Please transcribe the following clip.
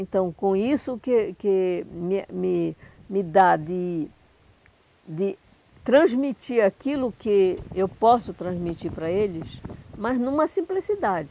Então, com isso que que me a me me dá de de transmitir aquilo que eu posso transmitir para eles, mas numa simplicidade.